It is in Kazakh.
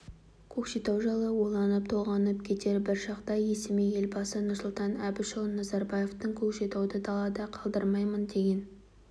көкшетау жайлы ойланып толғанып кетер бір шақта есіме елбасы нұрсұлтан әбішұлы назарбаевтың көкшетауды далада қалдырмаймын деген